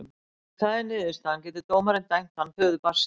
Ef það er niðurstaðan getur dómarinn dæmt hann föður barnsins.